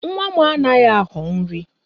Nwa m anaghị aghọ nri